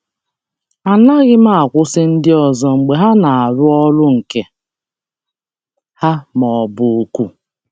Anaghị m akwụsị ndị ọzọ mgbe ha na-arụ ọrụ nke ha ma ọ bụ oku.